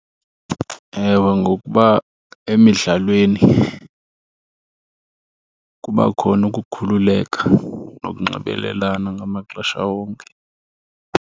Ewe, ngokuba emidlalweni kuba khona ukukhululeka nokunxibelelana ngamaxesha wonke.